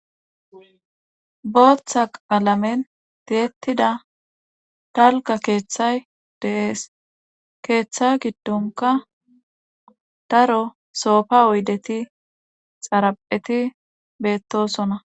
Bootha qalamen tiyetida dalga keethati de'es, keetha gidonko daro sofa oydeti,xarapheti betosona.